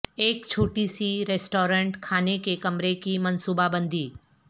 ایک چھوٹی سی ریسٹورانٹ کھانے کے کمرے کی منصوبہ بندی